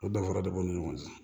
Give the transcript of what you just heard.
O danfara de b'u ni ɲɔgɔn cɛ